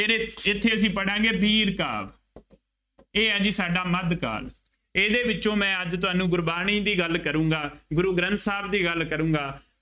ਇੱਥੇ ਅਸੀਂ ਪੜ੍ਹਾਂਗੇ ਵੀਰ ਕਾਲ, ਇਹ ਆ ਜੀ ਸਾਡਾ ਮੱਧ ਕਾਲ, ਇਹਦੇ ਵਿੱਚੋਂ ਮੈਂ ਅੱਜ ਤੁਹਾਨੂੰ ਗੁਰਬਾਣੀ ਦੀ ਗੱਲ ਕਰੂੰਗਾ, ਗੁਰੂ ਗ੍ਰੰਥ ਸਾਹਿਬ ਦੀ ਗੱਲ ਕਰੂੰਗਾ